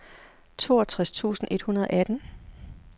toogtres tusind et hundrede og atten